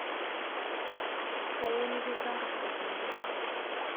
kayieu nikinco nkardasini miet